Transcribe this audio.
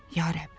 Ya Rəbb.